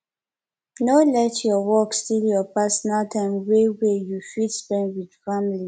no let your work steal your personal time wey wey you fit spend with family